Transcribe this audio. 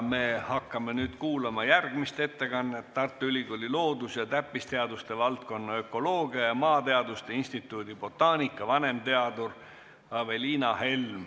Me hakkame nüüd kuulama järgmist ettekannet, mille esitab Tartu Ülikooli loodus- ja täppisteaduste valdkonna ökoloogia ja maateaduste instituudi botaanika vanemteadur Aveliina Helm.